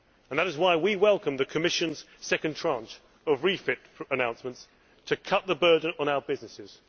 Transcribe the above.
That is why we welcome the Commission's second tranche of refit announcements to cut the burden on our businesses.